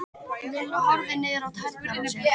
Lilla horfði niður á tærnar á sér.